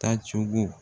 Taa cogo